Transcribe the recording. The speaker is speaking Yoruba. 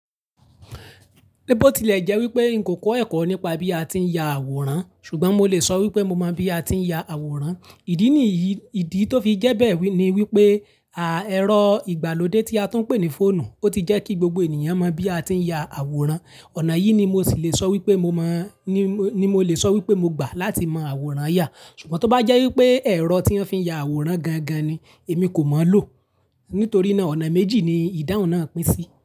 Níbó ti ilẹ̀ jẹ́ wípé n kò kọ́ ẹ̀kọ́ nípa bí a ti ń ya àwòrán, ṣùgbọ́n mo lè sọ wí pé mo mọ bí a ti ń ya àwòrán. Ìdí niyí ìdí tó fi jẹ́ bẹ́ẹ̀ ni wí pé, à ẹ̀rọ ìgbàlódé tí a tún ń pè ní fóònù, ó ti jẹ́ kí gbogbo ènìyàn mọ bí a ti ń ya àwòrán. Ọ̀nà yí ni mo sì lè sọ wí pé mo mọ̀, ní mó ni mo lè sọ wí pé mo gbà láti mọ àwòrán yà. Ṣùgbọ́n tó bá jẹ́ wí pé ẹ̀rọ tí wọ́n fi ń ya àwòrán gangan ni, èmi kò mọ̀ ọ́ lò. Nítorí náà, ọ̀nà méjì ni ìdáhun na pín sí.